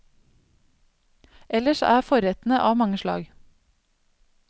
Ellers er forrettene av mange slag.